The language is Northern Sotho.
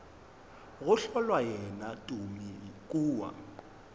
go hlola yena tumi kua